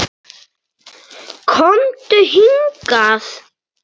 KOMDU HINGAÐ!